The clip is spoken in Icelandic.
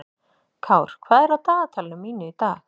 Kár, hvað er á dagatalinu mínu í dag?